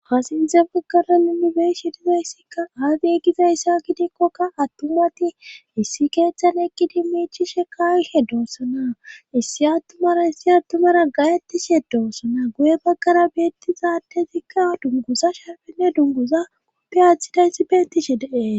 hasinte baggara nuni beeshi dizayssikka aadi gizayssa gidikkokka attumati issi keeththal ekkidi miichi shekayhe doossana issi attumara issi attumara gayettishe doossana guye baggara beettizaatezikka dunguza shaafenne dunguza uppe aaththidayssi beettishe dee